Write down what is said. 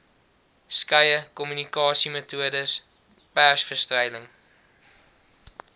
skeie kommunikasiemetodes persvrystellings